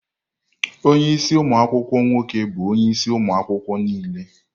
ọnye isi umu akwukwuo nwoke bụ onye isi ụmụ akwụkwọ niile.